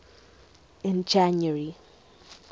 in january